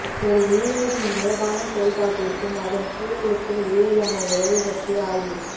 ஒரு உயிரினத்தின் இயல்பான செயல்பாட்டிற்கும் அதன் சூழலுக்கும் இடையிலான உறவு பற்றிய ஆய்வு